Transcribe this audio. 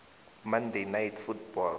monday night football